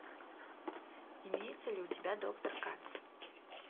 имеется ли у тебя доктор катц